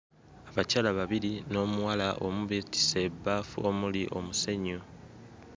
Abakyala babiri n'omuwala omu beetisse ebbafu omuli omusenyu.